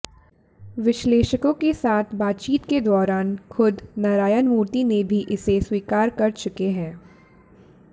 विश्लेषकों के साथ बातचीत के दौरान खुद नारायणमूर्ति ने भी इसे स्वीकार कर चुके हैं